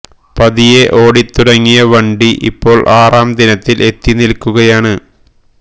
പതിയെ ഓടി തുടങ്ങിയ വണ്ടി ഇപ്പോൾ ആറാം ദിനത്തിൽ എത്തി നിൽക്കുകയാണ്